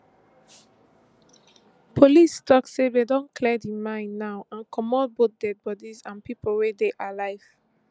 police tok say dem don clear di mine now and comot both dead bodies and pipo wey dey alive